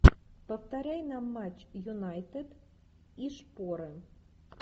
повторяй нам матч юнайтед и шпоры